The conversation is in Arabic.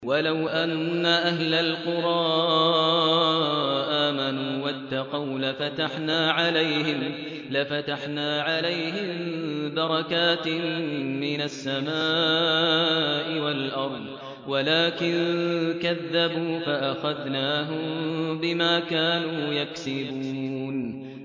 وَلَوْ أَنَّ أَهْلَ الْقُرَىٰ آمَنُوا وَاتَّقَوْا لَفَتَحْنَا عَلَيْهِم بَرَكَاتٍ مِّنَ السَّمَاءِ وَالْأَرْضِ وَلَٰكِن كَذَّبُوا فَأَخَذْنَاهُم بِمَا كَانُوا يَكْسِبُونَ